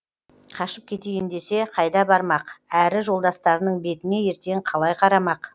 қашып кетейін десе қайда бармақ әрі жолдастарының бетіне ертең қалай қарамақ